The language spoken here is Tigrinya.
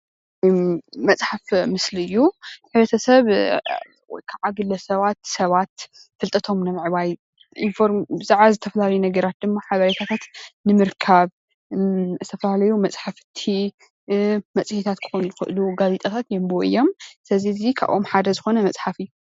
እዚ መፅሓፍ ምስሊ እዩ፡፡ ሕ/ሰብ ወይ ከዓ ግለሰባት ሰባት ፍልጠቶም ንምዕባይ ብዛዕባ ዝተፈላለዩ ነገራት ድማ ሓበሬታት ንምርካብ ዝተፈላለዩ መፅሓፍቲ፣ መፅሄታት፣ ጋዜጣታት የንብቡ እዮም፡፡ ስለዚ ኣብዚ ካብኦም ሓደ ዝኮነ መፅሓፍ እዩ፡፡